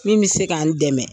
Min bɛ se ka n dɛmɛ.